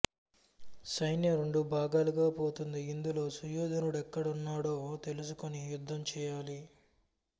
సైన్యం రెండు భాగాలుగా పోతుంది ఇందులో సుయోధను డెక్కడ ఉన్నాడో తెలుసుకుని యుద్ధం చేయాలి